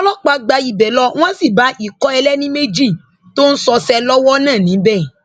àwọn ọlọpàá gba ibẹ lọ wọn sì bá ikọ ẹlẹni méjì tó ń ṣọṣẹ lọwọ náà níbẹ